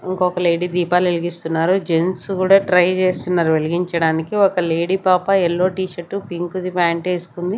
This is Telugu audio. ఇంకొక లేడీ దీపాలెలిగిస్తున్నారు జెంట్స్ కూడా ట్రై చేస్తున్నారు వెలిగించడానికి ఒక లేడీ పాపా ఎల్లో టీషర్టు పింక్ ది ఫ్యాంట్ ఏసుకుంది.